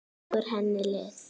Leggur henni lið.